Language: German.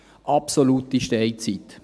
Absolute Steinzeit.